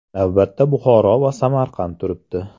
Navbatda Buxoro va Samarqand turibdi.